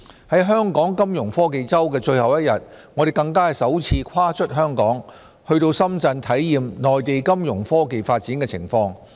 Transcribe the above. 在香港金融科技周的最後一天，我們更首次跨出香港，到深圳體驗內地金融科技發展的情況。